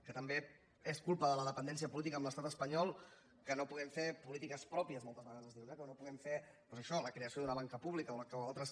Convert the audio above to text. que també és culpa de la dependència política de l’estat espanyol que no puguem fer polítiques pròpies moltes vegades es diu no que no puguem fer doncs això la creació d’una banca pública o altres